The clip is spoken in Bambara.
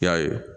I y'a ye